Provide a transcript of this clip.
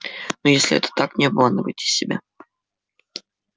но если это так не обманывайте себя